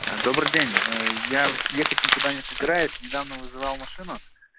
добрый день я ехать никуда не собираюсь недавно вызвал машину